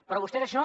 però vostè d’això